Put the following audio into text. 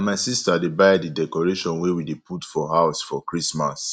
na my sister dey buy di decoration wey we dey put for house for christmas